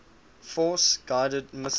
force guided missiles